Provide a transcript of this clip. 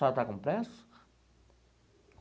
A senhora está com pressa?